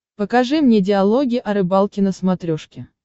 покажи мне диалоги о рыбалке на смотрешке